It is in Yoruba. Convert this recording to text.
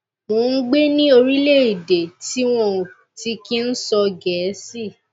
mò ń gbé ní orílẹèdè tí wọn ò ti kí ń sọ gẹẹsì